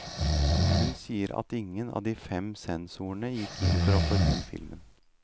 Hun sier at ingen av de fem sensorene gikk inn for å forby filmen.